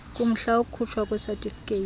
kumhla wokukhutshwa kwesatifiketi